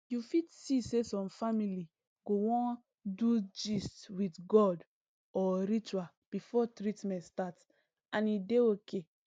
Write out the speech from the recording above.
you fit see say some family go wan do gist with god or ritual before treatment start and e dey okay